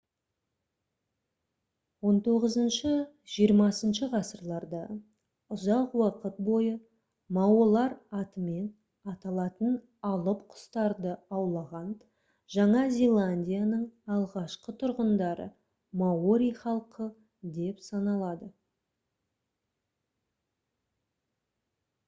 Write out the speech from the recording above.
хіх-хх ғасырларда ұзақ уақыт бойы маолар атымен аталатын алып құстарды аулаған жаңа зеландияның алғашқы тұрғындары маори халқы деп саналды